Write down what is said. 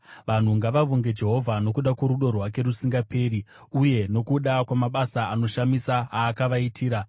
Vanhu ngavavonge Jehovha nokuda kworudo rwake rusingaperi, uye nokuda kwamabasa anoshamisa aakavaitira,